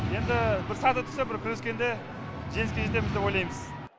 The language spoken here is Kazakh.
енді бір сәті түссе бір күрескенде жеңіске жетеміз деп ойлаймыз